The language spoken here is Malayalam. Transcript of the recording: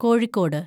കോഴിക്കോട്